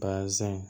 Basɛn